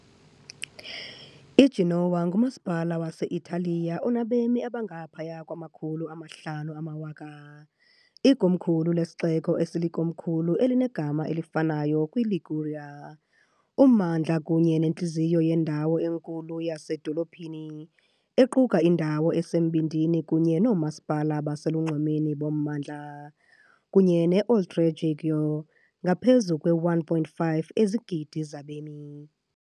IGenoa, ngumasipala wase-Italiya onabemi abangaphaya kwamakhulu amahlanu amawaka, ikomkhulu lesixeko esilikomkhulu elinegama elifanayo, kwiLiguria. Ummandla kunye nentliziyo yendawo enkulu yasezidolophini equka indawo esembindini kunye noomasipala baselunxwemeni bommandla, kunye ne- Oltregiogo, ngaphezu kwe-1.5 izigidi zabemi.